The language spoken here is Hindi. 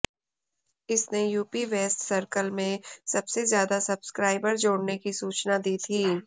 इसने यूपी वेस्ट सर्कल में सबसे ज्यादा सब्सक्राइबर जोड़ने की सूचना दी थी